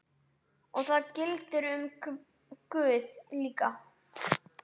Og það gildir um guð líka.